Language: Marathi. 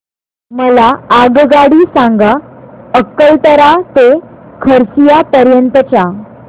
मला आगगाडी सांगा अकलतरा ते खरसिया पर्यंत च्या